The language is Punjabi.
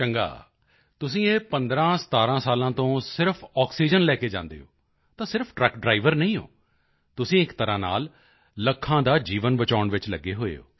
ਚੰਗਾ ਤੁਸੀਂ ਇਹ 1517 ਸਾਲ ਤੋਂ ਸਿਰਫ ਆਕਸੀਜਨ ਲੈ ਕੇ ਜਾਂਦੇ ਹੋ ਤਾਂ ਸਿਰਫ ਟਰੱਕ ਡ੍ਰਾਈਵਰ ਨਹੀਂ ਹੋ ਤੁਸੀਂ ਇੱਕ ਤਰ੍ਹਾਂ ਨਾਲ ਲੱਖਾਂ ਦਾ ਜੀਵਨ ਬਚਾਉਣ ਵਿੱਚ ਲੱਗੇ ਹੋਏ ਹੋ